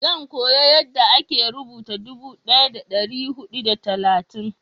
zan koya yanda a ke rubuta dubu daya da dari hudu da talatin